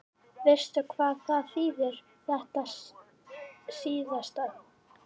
Veistu hvað það þýðir þetta síðasta?